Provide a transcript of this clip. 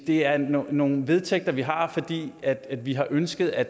det er nogle nogle vedtægter vi har fordi vi har ønsket at